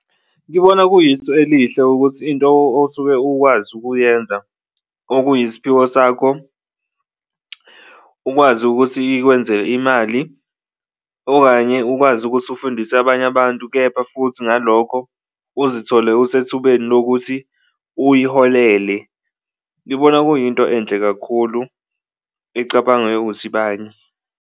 Ngibona kuyisu elihle ukuthi into osuke ukwazi ukuyenza okuyisiphiwo sakho ukwazi ukuthi ikwenze imali okanye ukwazi ukuthi ufundise abanye abantu kepha futhi ngalokho uzithole usethubeni lokuthi uyiholele, ngibona kuyinto enhle kakhulu ecabanga yokuthi banye.